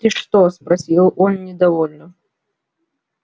ты что спросил он недовольно